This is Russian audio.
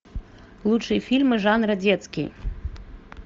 лучшие фильмы жанра детский